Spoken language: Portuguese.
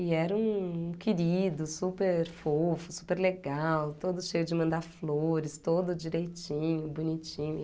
E era um um querido super fofo, super legal, todo cheio de mandar flores, todo direitinho, bonitinho.